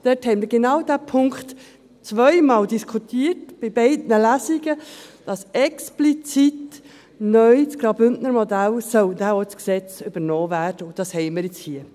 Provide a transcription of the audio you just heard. dort haben wir genau den Punkt 2 diskutiert, in beiden Lesungen, dass explizit neu das Graubündner Modell dann auch ins Gesetz übernommen werden soll, und das haben wir jetzt hier.